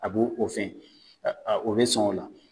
A b'o o fɛn, a be sɔn o la.